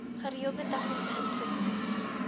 gereelde tegniese inspeksies